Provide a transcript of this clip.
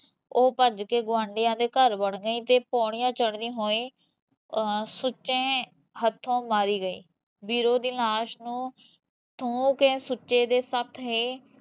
ਓਹ ਭੱਜ ਕੇ ਗਵਾਂਢੀਆ ਦੇ ਘਰ ਵੜ ਗਈ ਤੇ ਪੋੜੀਆ ਚੜਦੀ ਹੋਈ ਸੁੱਚੇ ਹੱਥੋਂ ਮਾਰੀ ਗਈ ਬੀਰੋਂ ਦੀ ਲਾਸ਼ ਨੂੰ ਥੂਹ ਕੇ ਸੁੱਚੇ ਦੇ ਸਾਥੀ